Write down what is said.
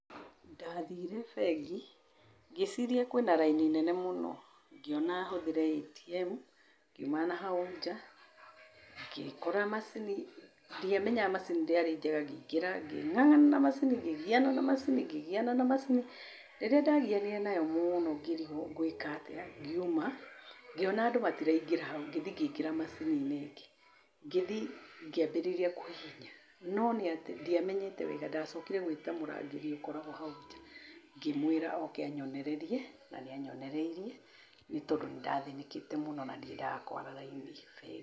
Ndathire bengi, ngĩĩciria kwĩna raini nene mũno, ngĩona hũthĩre ATM. Ngiuma nahau nja, ngĩkora macini. Ndiamenya macini ũrĩa. Ngĩingĩra, ngĩng'ang'ana na macini, ngĩgiana na macini, ngĩgiana na macini. Rĩrĩa ndagianire nayo mũno ngĩrigwo ngwĩka atĩa, ngiuma. Ngĩona andũ matiraingĩra hau, ngĩthi ngĩingĩra macini-inĩ, ngĩthi ngĩambĩrĩria kũhihinya. No nĩ atĩ ndiamenyete wega, ndacokire gwĩta mũrangĩri ũkoragwo hau nja. Ngĩmwĩra oke anyonererie na nĩ anyonereirie nĩ tondũ nĩ ndathĩnĩkĩte mũno na ndiendaga kũara raini bengi.